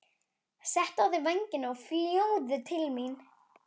Settu á þig vængina og fljúgðu til mín.